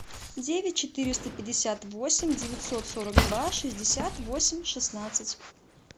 девять четыреста пятьдесят восемь девятьсот сорок два шестьдесят восемь шестнадцать